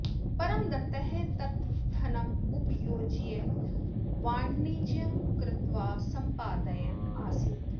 परमदत्तः तत् धनम् उपयुज्य वाणिज्यं कृत्वा सम्पादयन् आसीत्